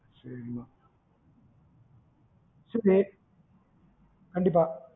சேரி சேரி கண்டிப்பா